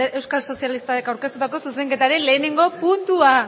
euskal sozialista taldeak aurkeztutako zuzenketaren lehenengo puntua